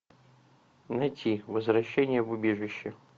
найти возвращение в убежище